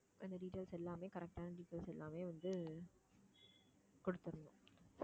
அந்த details எல்லாமே correct ஆன details எல்லாமே வந்து கொடுத்தறணும்